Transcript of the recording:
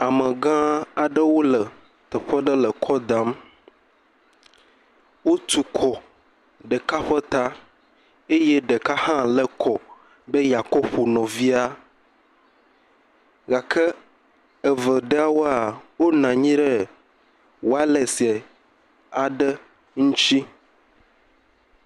Amegã aɖewo le teƒe ɖe le kɔ dam, wotu kɔ ɖeka ƒe ta eye ɖeka hã le kɔ be yekɔƒo nɔvia, gake eve ɖewoa, wonɔ nyi ɖe walɛse aɖe ŋtsi.